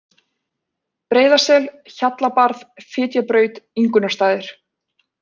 Breiðasel, Hjallabarð, Fitjabraut, Ingunnarstaðir